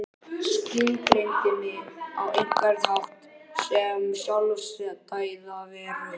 Skilgreindi mig á einhvern hátt sem sjálfstæða veru.